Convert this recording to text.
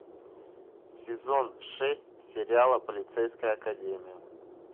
сезон шесть сериала полицейская академия